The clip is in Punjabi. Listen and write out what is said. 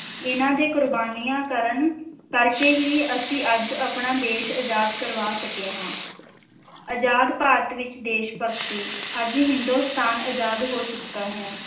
ਇਨ੍ਹਾਂ ਦੇ ਕੁਰਬਾਨੀਆਂ ਕਰਨ ਕਰਕੇ ਹੀ ਅਸੀਂ ਅੱਜ ਆਪਣਾ ਦੇਸ਼ ਅਜ਼ਾਦ ਕਰਵਾ ਸਕੇ ਹਾਂ, ਅਜ਼ਾਦ ਭਾਰਤ ਵਿੱਚ ਦੇਸ਼-ਭਗਤੀ, ਅੱਜ ਹਿੰਦੁਸਤਾਨ ਅਜ਼ਾਦ ਹੋ ਚੁੱਕਾ ਹੈ।